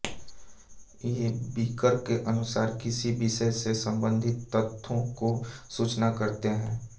जे Becker के अनुसार किसी विषय से सम्बंधित तथ्यों को सूचना कहते हैं